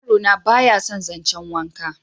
yaro na ba ya san zancen wanka